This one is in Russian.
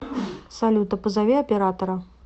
салют а позови оператора